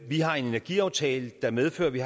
vi har en energiaftale der medfører at vi